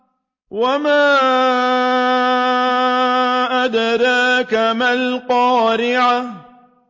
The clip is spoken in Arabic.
وَمَا أَدْرَاكَ مَا الْقَارِعَةُ